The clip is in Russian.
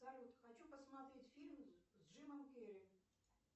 салют хочу посмотреть фильм с джимом керри